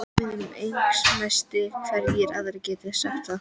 Ég var Englandsmeistari, hverjir aðrir geta sagt það?